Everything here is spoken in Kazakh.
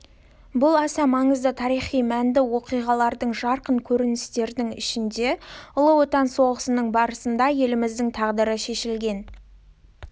бұл аса маңызды тарихи мәнді оқиғалардың жарқын көріністердің ішінде ұлы отан соғысының барысында еліміздің тағдыры шешілген